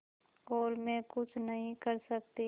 और मैं कुछ नहीं कर सकती